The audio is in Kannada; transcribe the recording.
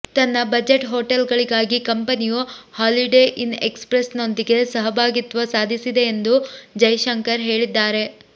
ತನ್ನ ಬಜೆಟ್ ಹೋಟೆಲ್ ಗಳಿಗಾಗಿ ಕಂಪನಿಯು ಹಾಲಿಡೇ ಇನ್ ಎಕ್ಸ್ ಪ್ರೆಸ್ ನೊಂದಿಗೆ ಸಹಭಾಗಿತ್ವ ಸಾಧಿಸಿದೆ ಎಂದು ಜೈಶಂಕರ್ ಹೇಳಿದ್ದಾರೆ